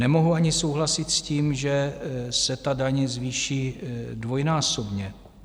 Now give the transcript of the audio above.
Nemohu ani souhlasit s tím, že se ta daň zvýší dvojnásobně.